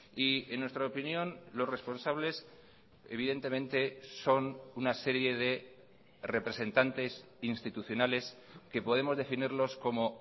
y en nuestra opinión los responsables evidentemente son una serie de representantes institucionales que podemos definirlos como